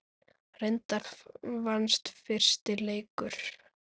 Reyndar vannst fyrsti leikur.